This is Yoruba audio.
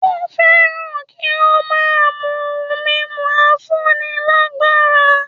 Ó fẹ́ràn kí ó máa mú ohun mímu afúnilágbára